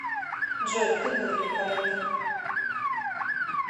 джой ты был великолепен